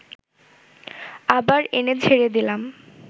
আবার এনে ঝেড়ে দিলাম